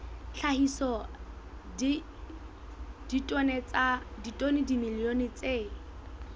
hlahisa ditone tsa dimilione tse